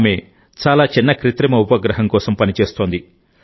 ఆమె చాలా చిన్న కృత్రిమ ఉపగ్రహం కోసం పని చేస్తోంది